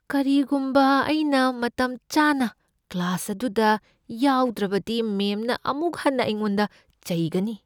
ꯀꯔꯤꯒꯨꯝꯕ ꯑꯩꯅ ꯃꯇꯝꯆꯥꯅ ꯀ꯭ꯂꯥꯁ ꯑꯗꯨꯗ ꯌꯥꯎꯗ꯭ꯔꯕꯗꯤ, ꯃꯦꯝꯅ ꯑꯃꯨꯛ ꯍꯟꯅ ꯑꯩꯉꯣꯟꯗ ꯆꯩꯒꯅꯤ꯫